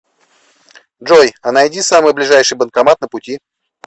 джой а найди самый ближайший банкомат на пути